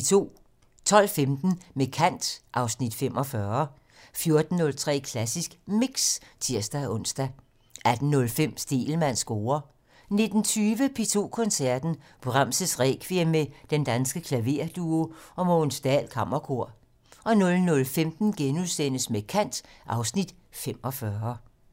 12:15: Med kant (Afs. 45) 14:03: Klassisk Mix (tir-ons) 18:05: Stegelmanns score 19:20: P2 Koncerten - Brahms' Requiem med Den Danske Klaverduo og Mogens Dahl Kammerkor 00:15: Med kant (Afs. 45)*